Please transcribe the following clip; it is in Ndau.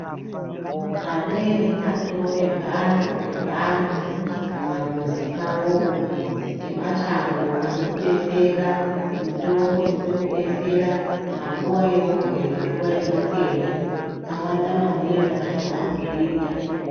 Amweni atoonemphando ngemhando, pamamuzi pawopo emashango anodetsera, mitombo inotidetsera panguwa yeurwere, nguwa yematenda. Awanda maningi antu aakuzviita.